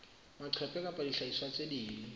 maqephe kapa dihlahiswa tse ding